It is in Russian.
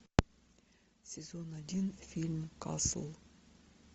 сезон один фильм касл